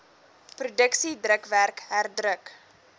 produksie drukwerk herdruk